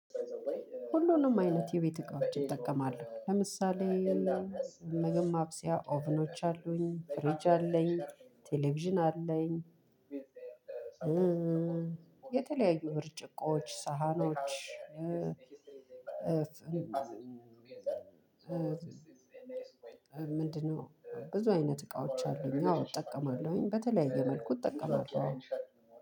ሁሉንም አይነት የቤት እቃዎች እጠቀማለሁ ለምሳሌ ምግብ ማብሲያ ኦቭኖች አሉኝ ፍሪጅ አለኝ ቴሌቪዥን አለኝ። የተለያዩ ብርጭቆዎች ሳህኖች። ምንድነው? ብዙ አይነት እቃዎች አሉኝ አዎ እጠቀማለሁኝ በተለያየ መልኩ እጠቀማለው።